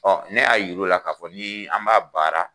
Ɔ ne y'a yiruw la k kaa fɔ ni an b'a baara.